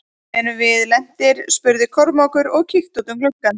Erum við lentir spurði Kormákur og kíkti út um gluggann.